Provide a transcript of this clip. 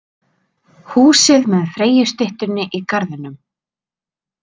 Húsið með Freyjustyttunni í garðinum.